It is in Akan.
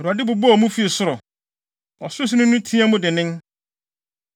Awurade bobɔɔ mu fi ɔsoro; Ɔsorosoroni no teɛɛ mu dennen.